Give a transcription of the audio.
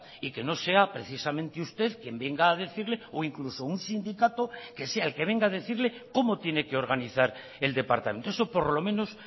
y que no sea precisamente usted quien venga a decirle o incluso un sindicato que sea el que venga a decirle cómo tiene que organizar el departamento eso por lo menos